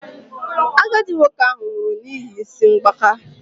Agadi nwoke ahụ nwụrụ n'ihi isi mgbaka